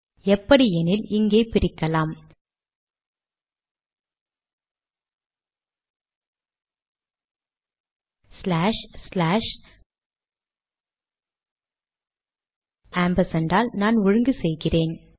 எப்படி எனில் இங்கே பிரிக்கலாம் ஸ்லாஷ் ஸ்லாஷ் ஆம்பர்சாண்ட் ஆல் நான் ஒழுங்கு செய்கிறேன்